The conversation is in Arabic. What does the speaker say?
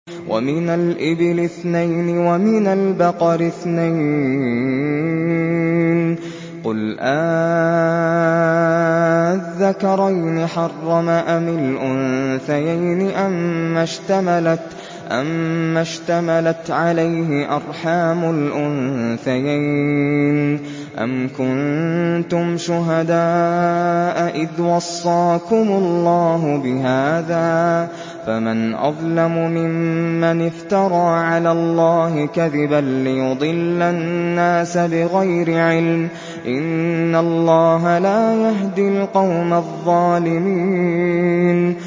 وَمِنَ الْإِبِلِ اثْنَيْنِ وَمِنَ الْبَقَرِ اثْنَيْنِ ۗ قُلْ آلذَّكَرَيْنِ حَرَّمَ أَمِ الْأُنثَيَيْنِ أَمَّا اشْتَمَلَتْ عَلَيْهِ أَرْحَامُ الْأُنثَيَيْنِ ۖ أَمْ كُنتُمْ شُهَدَاءَ إِذْ وَصَّاكُمُ اللَّهُ بِهَٰذَا ۚ فَمَنْ أَظْلَمُ مِمَّنِ افْتَرَىٰ عَلَى اللَّهِ كَذِبًا لِّيُضِلَّ النَّاسَ بِغَيْرِ عِلْمٍ ۗ إِنَّ اللَّهَ لَا يَهْدِي الْقَوْمَ الظَّالِمِينَ